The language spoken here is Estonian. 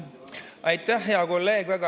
Aitäh, hea kolleeg!